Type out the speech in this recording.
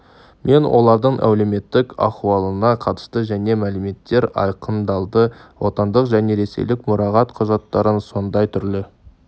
мен олардың әлеуметтік ахуалына қатысты жаңа мәліметтер айқындалды отандық және ресейлік мұрағат құжаттарын сондай түрлі